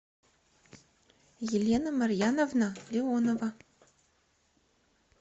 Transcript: елена марьяновна леонова